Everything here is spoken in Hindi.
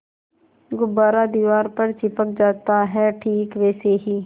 गुब्बारा दीवार पर चिपक जाता है ठीक वैसे ही